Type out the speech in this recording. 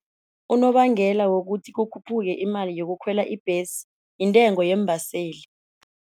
Unobangela wokuthi kukhuphuka imali yokukhwela ibhesi intengo yeembaseli.